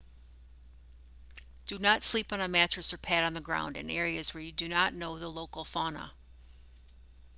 do not sleep on a mattress or pad on the ground in areas where you do not know the local fauna